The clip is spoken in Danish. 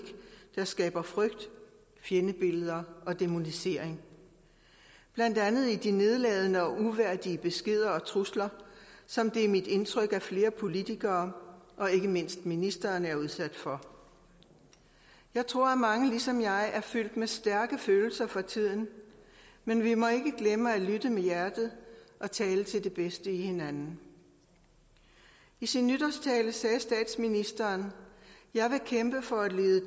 der skaber frygt fjendebilleder og dæmonisering blandt andet i de nedladende og uværdige beskeder og trusler som det er mit indtryk at flere politikere og ikke mindst ministeren er udsat for jeg tror at mange ligesom jeg er fyldt med stærke følelser for tiden men vi må ikke glemme at lytte med hjertet og tale til det bedste i hinanden i sin nytårstale sagde statsministeren jeg vil kæmpe for at lede